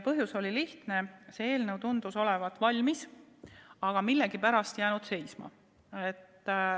Põhjus oli lihtne: see eelnõu tundus olevat valmis, aga millegipärast jäänud seisma.